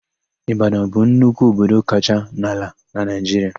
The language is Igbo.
Ịbadọn bụ nnukwu obodo kacha n'ala na Naịjiria.